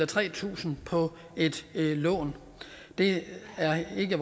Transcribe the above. tre tusind for et lån det er i